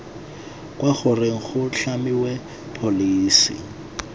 kwa goreng go tlhamiwe pholesi